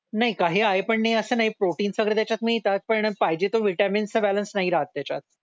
नाही काय आहे पण नाही असं नाही प्रोटिन्स वगैरे त्याच्यात मिळतात पण पाहिजे तो विटामिन चा बॅलन्स नाही राहत त्याच्यात